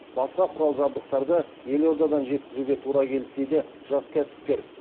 басқа құрал жабдықтарды елордадан жеткізуге тура келді дейді жас кәсіпкер